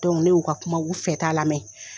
ne y'u ka kuma u fɛta lamɛ.